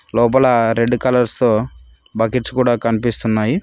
లోపల red colours తో buckets కూడా కన్పిస్తున్నాయి.